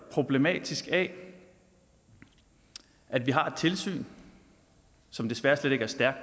problematisk af at vi har et tilsyn som desværre slet ikke er stærkt